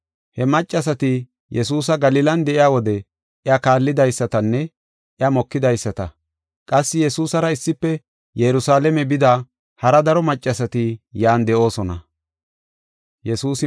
He maccasati Yesuusi Galilan de7iya wode iya kaallidaysatanne iya mokidaysata qassi Yesuusara issife Yerusalaame bida hara daro maccasati yan de7oosona.